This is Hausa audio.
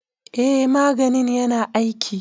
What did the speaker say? eh maganin yana aiki.